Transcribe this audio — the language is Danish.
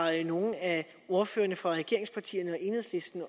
nogen af ordførerne fra regeringspartierne eller enhedslisten